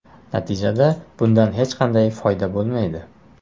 Natijada bundan hech qanday foyda bo‘lmaydi.